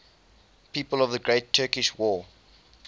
people of the great turkish war